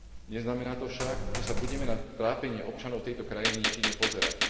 Neznamená to však, že sa budeme na trápenie občanov tejto krajiny nečinne pozerať.